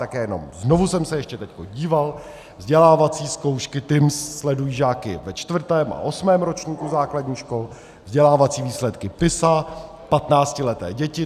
Tak jenom znovu jsem se ještě teď díval, vzdělávací zkoušky TIMSS sledují žáky ve čtvrtém a osmém ročníku základních škol, vzdělávací výsledky PISA patnáctileté děti.